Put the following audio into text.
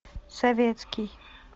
советский